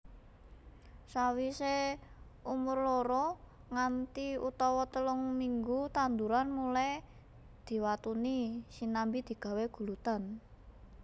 Sawise umur loro nganti utawa telung minggu tanduran mulai diwatuni sinambi digawé guludan